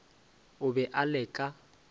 o be a le ka